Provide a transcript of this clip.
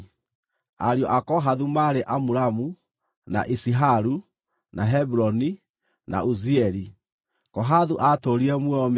Ariũ a Kohathu maarĩ Amuramu, na Iziharu, na Hebironi, na Uzieli. Kohathu aatũũrire muoyo mĩaka 133.